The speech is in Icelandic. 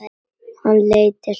Hann leit til Tóta.